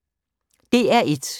DR1